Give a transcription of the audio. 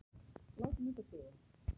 Látum þetta duga.